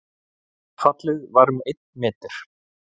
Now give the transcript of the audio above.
Fallið var um einn meter